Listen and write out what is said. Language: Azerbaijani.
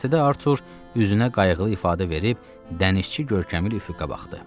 Göyərtədə Artur üzünə qayğılı ifadə verib dənizçi görkəmi ilə üfüqə baxdı.